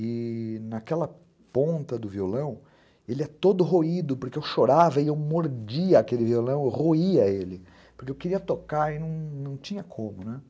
E... naquela ponta do violão, ele é todo roído, porque eu chorava e eu mordia aquele violão, eu roía ele, porque eu queria tocar e não tinha como, né?